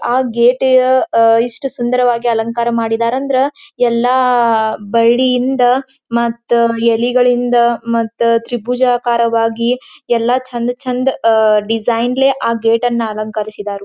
ಆ ಗೇಟ್ ಇ ಅ ಇಷ್ಟು ಸುಂದರವಾಗಿ ಅಲಂಕಾರ ಮಾಡಿದರ ಅಂದ್ರ ಎಲ್ಲಾ ಬಳ್ಳಿಯಿಂದ ಮತ್ತ ಎಲಲಿಗಳಿಂದ ಮತ್ತು ತ್ರಿಭುಜಾಕಾರವಾಗಿ ಎಲ್ಲ ಚಂದ ಚಂದ ಅಆ ಡಿಸೈನ್ ಲೇ ಆ ಗೇಟ್ ಅನ್ನ ಅಲಂಕರಿಸಿದಾರು.